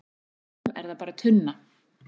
fyrir honum er það bara tunna